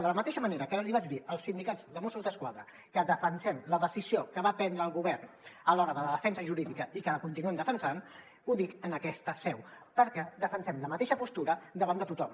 de la mateixa manera que vaig dir als sindicats de mossos d’esquadra que defensem la decisió que va prendre el govern a l’hora de la defensa jurídica i que la continuem defensant ho dic en aquesta seu perquè defensem la mateixa postura davant de tothom